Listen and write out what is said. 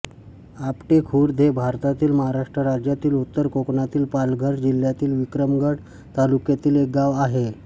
आपटी खुर्द हे भारतातील महाराष्ट्र राज्यातील उत्तर कोकणातील पालघर जिल्ह्यातील विक्रमगड तालुक्यातील एक गाव आहे